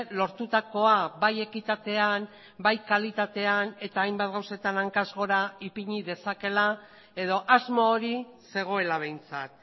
lortutakoa bai ekitatean bai kalitatean eta hainbat gauzetan hankaz gora ipini dezakeela edo asmo hori zegoela behintzat